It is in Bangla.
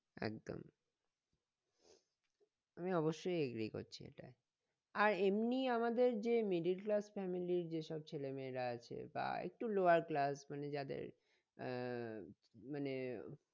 একদম আমি অবশ্যই agree করছি এটাই আর এমনি আমাদের যে middle class family এর যেসব ছেলে মেয়েরা আছে বা একটু lower class মানে যাদের আহ মানে